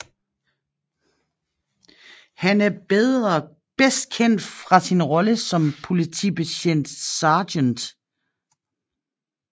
Han er bedst kendt fra sin rolle som politibetjent Sgt